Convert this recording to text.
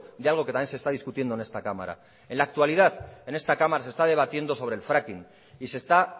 de algo que también se está discutiendo en esta cámara en la actualidad en esta cámara se está debatiendo sobre el fracking y se está